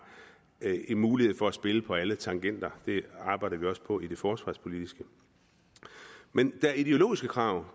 mulighed for at spille på alle tangenter det arbejder vi også på i det forsvarspolitiske men der er også ideologiske krav